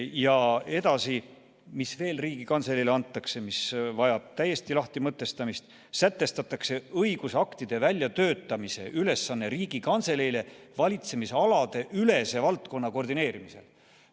Ja edasi, mis veel Riigikantseleile antakse ja mis vajab lahtimõtestamist: "sätestatakse õigusaktide väljatöötamise ülesanne Riigikantseleile valitsemisalade ülese valdkonna koordineerimisel".